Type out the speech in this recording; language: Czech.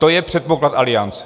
To je předpoklad aliance.